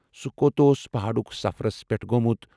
سُہ کوٚت اوس پہٲڈُک سفرس پیٹھ گومُت ؟